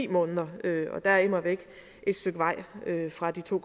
måneder og der er immervæk et stykke vej fra de to